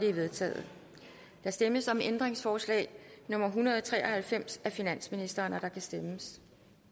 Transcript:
er vedtaget der stemmes om ændringsforslag nummer en hundrede og tre og halvfems af finansministeren og der kan stemmes